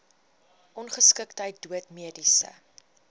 ongeskiktheid dood mediese